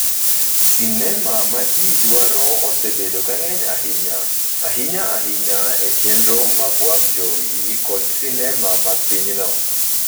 sinema ma ji dwaro osebedo ka ng’eny ahinya, ahinya ahinya e chenro mag wang' jowi kod sinema mag pinyno.